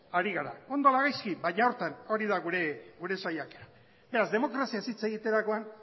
ari gara ondo ala gaizki baina horretan hori da gure saiakera beraz demokraziaz hitz egiterakoan